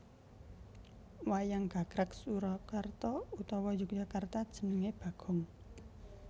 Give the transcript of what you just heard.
Wayang gagrag Surakarta utawa Yogyakarta jenenge Bagong